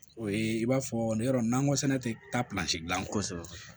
O ye i b'a fɔ ne yɔrɔ nin nakɔ sɛnɛ tɛ taa dilan kosɛbɛ